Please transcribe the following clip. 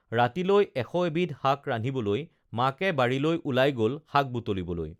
ৰাতিলৈ এশএবিধ শাক ৰান্ধিবলৈ মাকে বাৰীলৈ ওলাই গল শাক বুটলিবলৈ